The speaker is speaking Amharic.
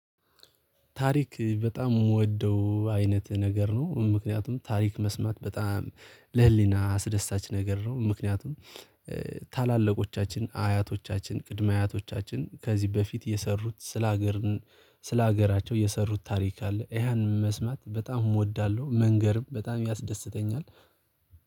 ታሪክ በጣም የምወደው አይነት ነገር ነው ምክንያቱም ታሪክ መስማት በጣም ለህሊና አስደሳች ነገር ነው። ምክንያቱም ታላላቆቻችን አያቶቻችን ቅድመ አያቶቻችን ከዚህ በፊት የሰሩት ስለ ሀገር ስለ ሀገራቸው የሰሩት ታሪክ አለ። ያንን መስማት በጣም እወዳለሁ መንገርም በጣም ያስደስተኛል።